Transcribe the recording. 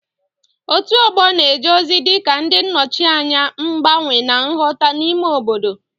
Òtù ọgbọ na-eje ozi dị ka ndị nnọchianya mgbanwe na nghọta n'ime obodo.